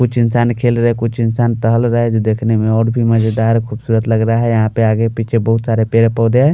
कुछ इंसान खेल रहे है कुछ इंसान टहल रहे जो देखने मै और भी मज़ेदार खूबसूरत लग रहे है यहाँ पर आगे पीछे बहुत सारे पेड़ पोधे है।